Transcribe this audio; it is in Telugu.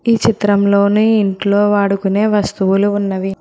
ఈ చిత్రంలోనె ఇంట్లో వాడుకునే వస్తువులు ఉన్నవి.